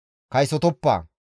«Kaysotoppa.